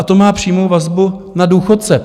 A to má přímou vazbu na důchodce.